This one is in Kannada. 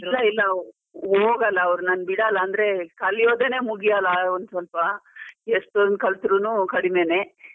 ಇಲ್ಲ ಇಲ್ಲ ಹೋಗಲ್ಲ, ಅವ್ರು ನಾನ್ ಬಿಡಲ್ಲ ಅಂದ್ರೆ ಕಲಿಯೋದನೆ ಮುಗಿಯಲ್ಲ ಒಂದ್ ಸ್ವಲ್ಪ, ಎಷ್ಟೊಂದ್ ಕಲ್ತರುನು ಕಡಿಮೇನೆ.